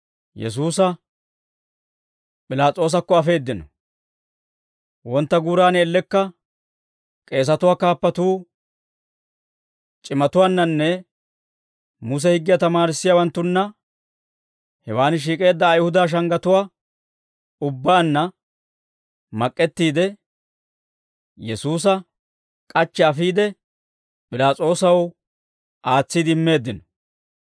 Wontta guuran ellekka k'eesatuwaa kaappatuu c'imatuwaannannee Muse higgiyaa tamaarissiyaawaanttunna hewaan shiik'eedda Ayihuda shanggatuwaa ubbaanna mak'k'ettiide, Yesuusa k'achchi afiide, P'ilaas'oosaw aatsiide immeeddino.